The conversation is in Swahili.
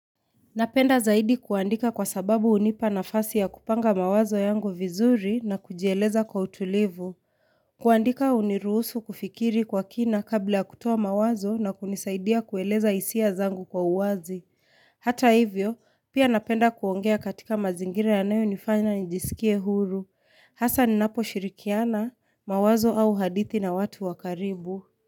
Napenda zaidi kuandika kwa sababu hunipa nafasi ya kupanga mawazo yangu vizuri na kujieleza kwa utulivu. Kuandika uniruhusu kufikiri kwa kina kabla ya kutoa mawazo na kunisaidia kueleza hisia zangu kwa uwazi. Hata hivyo, pia napenda kuongea katika mazingira yanayo nifanya njisikie huru. Hasa ninaposhirikiana mawazo au hadithi na watu wa karibu.